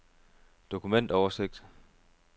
dokumentoversigt